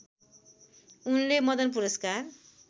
उनले मदन पुरस्कार